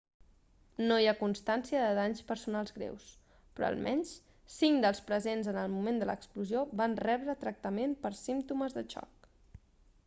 no hi ha constància de danys personals greus però almenys cinc dels presents en el moment de l'explosió van rebre tractament per símptomes de xoc